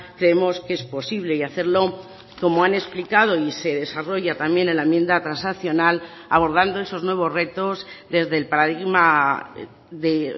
creemos que es posible y hacerlo como han explicado y se desarrolla también en la enmienda transaccional abordando esos nuevos retos desde el paradigma de